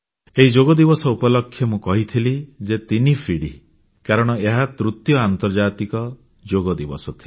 ଏହି ଯୋଗ ଦିବସ ଉପଲକ୍ଷେ ମୁଁ କହିଥିଲି ଯେ ତିନି ପିଢ଼ି କାରଣ ଏହା ତୃତୀୟ ଆନ୍ତର୍ଜାତିକ ଯୋଗ ଦିବସ ଥିଲା